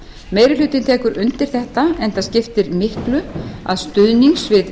meiri hlutinn tekur undir þetta enda skiptir miklu að stuðnings við